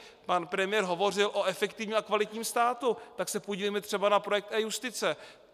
Pan premiér hovořil o efektivním kvalitním státu, tak se podívejme třeba na projekt e-Justice.